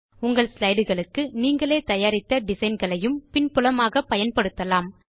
உங்கள் slideகளுக்கு நீங்களே தயாரித்த டிசைன் களையும் பின் புலமாக பயன்படுத்தலாம்